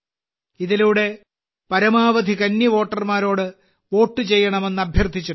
ഇതിലൂടെ പരമാവധി കന്നിവോട്ടർമാരോട് വോട്ട് ചെയ്യണമെന്ന് അഭ്യർത്ഥിച്ചിട്ടുണ്ട്